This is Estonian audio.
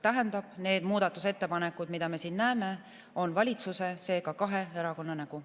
Tähendab, need muudatusettepanekud, mida me siin näeme, on valitsuse, seega kahe erakonna nägu.